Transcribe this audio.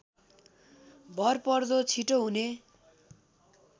भरपर्दो छिटो हुने